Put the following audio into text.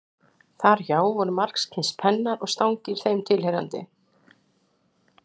Þar hjá voru margskyns pennar og stangir þeim tilheyrandi.